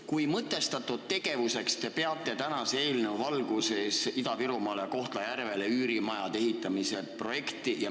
Kui mõtestatud tegevuseks te peate tänase eelnõu valguses Ida-Virumaale Kohtla-Järvele üürimajade ehitamist?